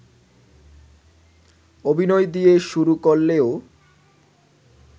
অভিনয় দিয়ে শুরু করলেও